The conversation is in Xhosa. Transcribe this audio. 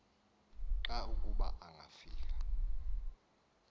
xa kuba ngafika